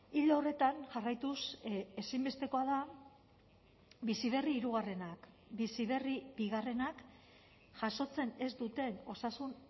ildo horretan jarraituz ezinbestekoa da bizi berri hirugarrenak bizi berri bigarrenak jasotzen ez duten osasun